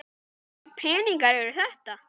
Hvaða peningar eru þetta?